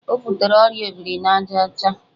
O butere ọrịa obrinajaọcha?